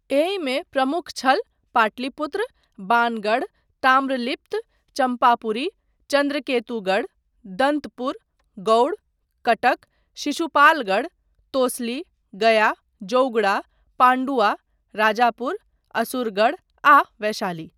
एहिमे प्रमुख छल पाटलिपुत्र, बाणगढ़, ताम्रलिप्त, चम्पापुरी, चन्द्रकेतुगढ़, दन्तपुर, गौड़, कटक, शिशुपालगढ़, तोसली, गया, जौगड़ा, पाण्डुआ, राजापुर, असुरगढ़ आ वैशाली।